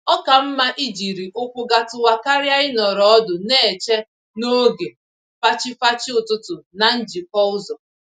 Oka mma ijiri ụkwụ gatuwa karịa ịnọrọ ọdụ n'eche n'oge fachi-fachi ụtụtụ na njikọ ụzọ